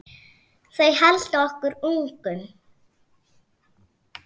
Þau halda okkur ungum.